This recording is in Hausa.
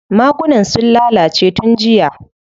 Magunan sun lalace tun jiya.